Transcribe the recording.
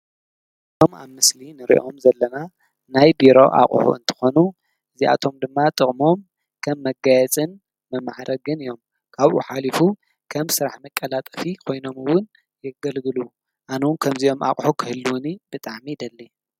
እዞም ኣብ ምስሊ ንርእዮም ዘለና ናይ ቢሮ ኣቕሑ እንተኾኑ እዚኣቶም ድማ ጥቕሞም ከም መጋየፅን መማዕረግን እዮም፡፡ ካብኡ ሓሊፉ ከም ስራሕ መቀላጠፊ ኾይኖም ውን የገልግሉ፡፡ ኣነ ዉን ከምዚኦም ኣቕሑ ኽህልዉኒ ብጠዕሚ ይደሊ፡፡